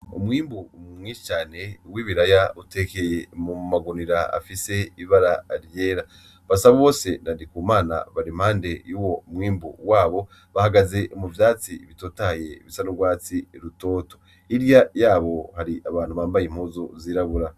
Umwimbu mwinshi cane w'ibiraya utekeye mu magunira afise ibara ryera BASABOSE na NDIKUMANA bari impande yuwo mwimbu wabo bahagaze mu vyatsi bitotahaye bisa n'urwatsi rutoto, hiryo yabo hari abantu bambaye impuzu zirabura.